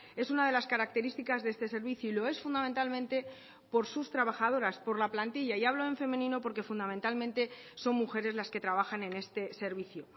es una de las características de este servicio y lo es fundamentalmente por sus trabajadoras por la plantilla y hablo en femenino porque fundamentalmente son mujeres las que trabajan en este servicio